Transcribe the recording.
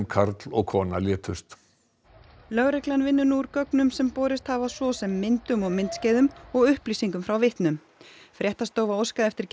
karl og kona létust lögreglan vinnur nú úr gögnum sem borist hafa svo sem myndum og myndskeiðum og upplýsingum frá vitnum fréttastofa óskaði eftir